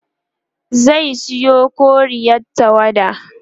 zai Sayo koriyar tawada